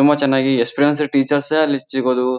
ತುಂಬ ಚೆನ್ನಾಗಿ experience teachers ಅಲ್ಲಿ ಸಿಗೋದು.